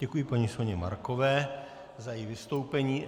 Děkuji paní Soně Markové za její vystoupení.